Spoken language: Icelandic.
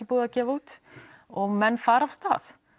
búið að gefa út og menn fara af stað